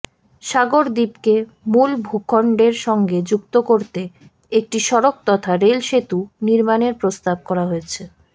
সাগর দ্বীপকে মূল ভূখন্ডের সঙ্গে যুক্ত করতে একটি সড়ক তথা রেলসেতু নির্মাণের প্রস্তাব করা হয়েছে